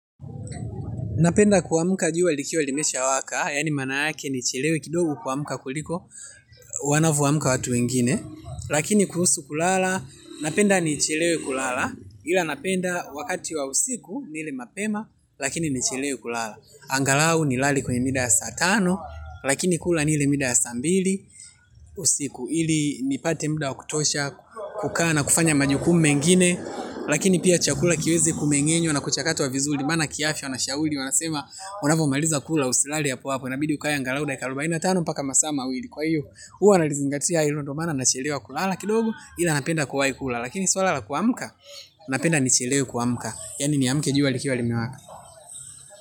Napenda kuamuka juwa likiwa limesha waka, yani maana yake nichilewe kidogo kuamuka kuliko, wanavoamuka watu wengine, lakini kuhusu kulala, napenda nichilewe kulala, ila napenda wakati wa usiku nile mapema, lakini nichilewe kulala. Angalau ni lale kwenye mida ya saa tano. Lakini kula nile mida ya saa mbili usiku ili nipate muda wakutosha kukaa na kufanya majukumu mengine lakini pia chakula kiweze kumeng'enywa nakuchakatwa wa vizuri. Maana kiafya wanashauri wanasema unavo maliza kula usilale hapo hapo inabidi ukae angalau dakika arubaina tano mpaka masaa mawili kwa iyo huwa nalizingatia hilo ndo mana na chelewa kulala kidogo. Ila napenda kuwai kula lakini swala la kuamuka napenda nichelewe kuamka yani ni amuke juwa likiwa limewaka.